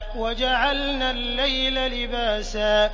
وَجَعَلْنَا اللَّيْلَ لِبَاسًا